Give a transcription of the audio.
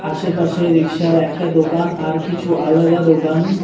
আশেপাশে রিক্সা এর একটা দোকান আর কিছু আলাদা দোকান --